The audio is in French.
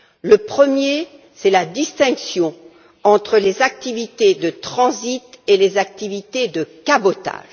Le premier, c'est la distinction entre les activités de transit et les activités de cabotage.